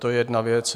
To je jedna věc.